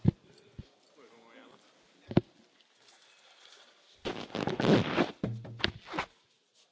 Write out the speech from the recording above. Akik a konkrétumokat hiányolják egy 108 oldalas jelentésben mindegyiküknek elküldtük, kérem olvassák